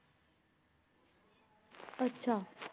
ਅੱਛਾ